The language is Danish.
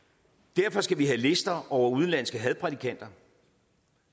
derfor skal vi have lister over udenlandske hadprædikanter